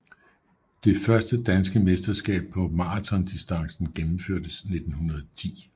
Det første danske mesterskab på maratondistancen gennemførtes 1910